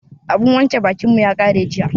Abun wanke bakin mu ya ƙare jiya.